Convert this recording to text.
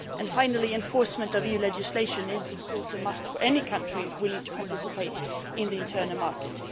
Finally, enforcement of EU legislation is, of course, a must for any country willing to participate in the internal market.